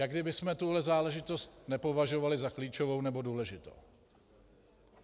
Jak kdybychom tuhle záležitost nepovažovali za klíčovou nebo důležitou.